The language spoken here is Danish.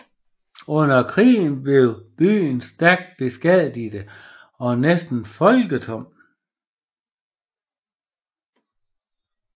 Under krigen blev byen stærkt beskadiget og næsten folketom